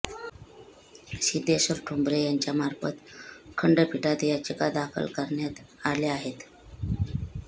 सिद्धेश्वर ठोंबरे यांच्यामार्फत खंडपीठात याचिका दाखल करण्यात आल्या आहेत